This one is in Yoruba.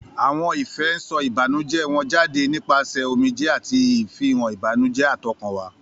Àwọn ìfẹ́ ń sọ ìbànújẹ́ wọn jáde nípasẹ̀ omijé àti ìfihàn ìbànújẹ́ átọkànwá.